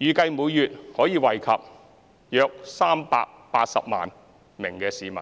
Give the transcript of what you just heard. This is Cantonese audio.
預計每月可惠及約380萬名市民。